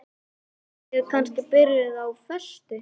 Eruð þið kannski byrjuð á föstu?